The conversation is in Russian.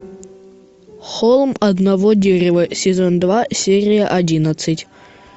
холм одного дерева сезон два серия одиннадцать